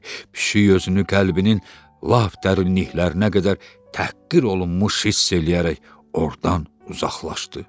Pişik özünü qəlbinin lap dərinliklərinə qədər təhqir olunmuş hiss eləyərək ordan uzaqlaşdı.